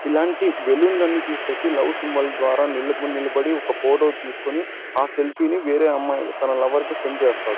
ఇలాంటి బెలూన్స్ అన్ని తిస్కోచి లవ్ సింబల్ ద్వారా నిలబడి ఒక ఫోటో తిస్కొని ఆ సెల్ఫీ ని వేరేయ్ అమ్మాయి తన లవర్ కి సెండ్ చేస్తాడు.